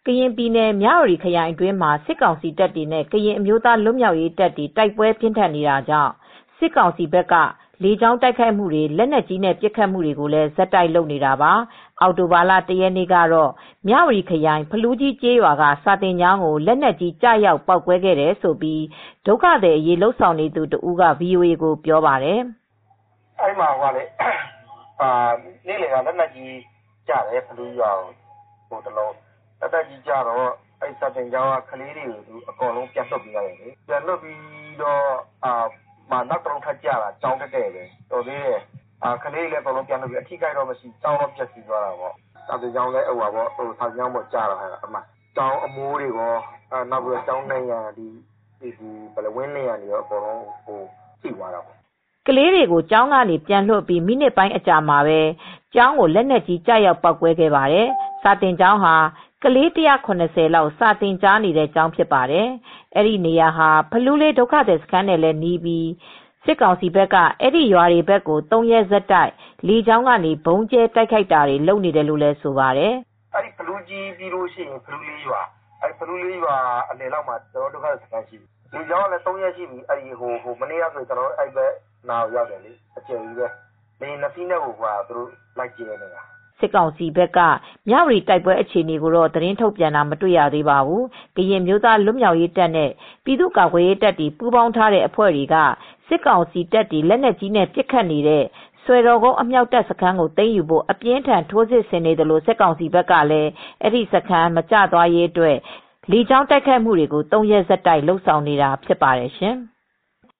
ကရင်ပြည်နယ် မြ၀တီခရိုင်အတွင်းမှာ စစ်ကောင်စီတပ်တွေနဲ့ ကရင်အမျိုးသားလွတ်မြောက်ရေးတပ်တို့ကြား တိုက်ပွဲတွေပြင်းထန်နေပြီး စစ်ကောင်စီဘက်က လေကြောင်းတိုက်ခိုက်မှုတွေ၊ လက်နက်ကြီးနဲ့ပစ်ခတ်မှုတွေကိုလည်း ဆက်တိုက်လုပ်နေတာပါ။ အောက်တိုဘာလ ၁ ရက်နေ့ကတော့ မြ၀တီခရိုင် ဖလူးကြီးကျေးရွာက စာသင်ကျောင်းကို လက်နက်ကြီး ကျရောက်ပေါက်ကွဲခဲ့တယ်လို့ ဒုက္ခသည်တွေကို ကူညီနေသူတဦးက VOAကိုအခုလိုပြောပါတယ်။ “အဲဒီမှာနေ့လယ်က ဖလူးရွာကို လက်နက်ကြီးကျတော့ စာသင်ကျောင်းက ကလေးတွေပြန်လွှတ်ပေးလိုက်တယ်။ ဒီနောက်သိပ်မကြာဘူး။ နောက်ထပ်တလုံးထပ်ကျတာ။ စာသင်ကျောင်းပေါ်တည့်တည့်ကျတယ်။ ကံကောင်းတာကကလေးတွေ ပြန်လွှတ်လိုက်လို့ အထိခိုက်တော့ မရှိဘူး။ ကျောင်းတော့ပျက်စီးသွားတယ်။ စာသင်ကျောင်းပေါ်ကျတော့ကျောင်းအမိုး၊ ကျောင်းဝန်းနံရံတွေကော ထိတယ်။” ကလေးတွေကိုကျောင်းကနေ ပြန်လွှတ်အပြီး မိနစ်ပိုင်းအကြာမှာပဲ ကျောင်းကိုလက်နက်ကြီးကျရောက်ေ ပေါက်ကွဲခဲ့တာဖြစ်ပါတယ်။ အခု လက်နက်ကြီးကျပြီးပျက်စီးသွးတဲ့ ဖလူးရွာ စာသင်ကျောင်းမှာ ပညာသင်နေကြတဲ့ ကလေး ၁၇၀ လောက်ရှိပါတယ်။ အဲဒီနေရာဟာ ဖလူးလေးဒုက္ခသည်စခန်းနဲ့လည်းနီးပြီး စစ်ကြောင်းက အဲဒီရွာတွေဘက်ကို ၃ ရက်ဆက်တိုက် လေကြောင်းကနေ ဗုံးကြဲတိုက်ခိုက်နေတယ်လို့လည်းဆိုပါတယ်။ “ဖလူးကြီးပြီးရင် ဖလူလေးရွာ၊ အဲဒီရွာအလယ်လောက်မှာ ကျနော်တို့ဒုက္ခသည်စခန်းရှိတယ်။ အခုက လေယာဉ်နဲ့လည်းသုံးရက်ရှိနေပြီ၊ လာကြဲနေတာ။ မနေ့ကဆို ကျနော်တို့ဘက်နားအထိရောက်တယ်။” လေယာဉ် ၂ စီးနဲ့ကို လာကြဲနေတာ။” စစ်ကောင်စီဘက်က မြ၀တီဘက်ကတိုက်ပွဲအခြေအနေကိုတော့ သတင်းထုတ်ပြန်တာမတွေ့ရသေးပါဘူး။ ကရင်အမျိုးသားလွတ်မြောက်ရေးတပ်နဲ့ ပြည်သူ့ကာကွယ်ရေးတပ်တွေ ပူးပေါင်းထားတဲ့အဖွဲ့တွေက စစ်ကောင်စီတပ်တွေ လက်နက်ကြီးနဲ့ ပစ်ခတ်နေတဲ့ စွယ်တော်ကုန်းအမြောက်တပ်စခန်းကို သိမ်းယူဖို့ အပြင်းအထန် ထိုးစစ်ဆင်နေသလို စစ်ကောင်စီဘက်ကလည်း အဲဒီစခန်း မကျရေးအတွက် လေကြောင်းသုံးပြီး ၃ ရက်ဆက်တိုက် ဗုံးကြဲတိုက်ခိုက်နေတာဖြစ်ပါတယ်ရှင်။